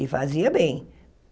E fazia bem.